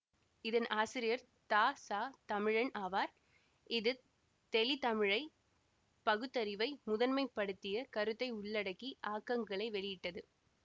இதன் ஆசிரியர் தச தமிழன் ஆவார் இது தெளிதமிழை பகுத்தறிவை முதன்மை படுத்திய கருத்தை உள்ளடக்கி ஆக்கங்களை வெளியிட்டது